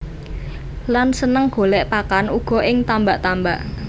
Lan seneng golèk pakan uga ing tambak tambak